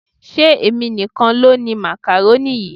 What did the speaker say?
Ṣé èmi nìkan ló ni makaroni yìí?